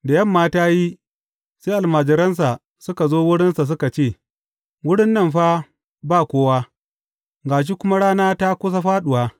Da yamma ta yi, sai almajiransa suka zo wurinsa suka ce, Wurin nan fa ba kowa, ga shi kuma rana ta kusa fāɗuwa.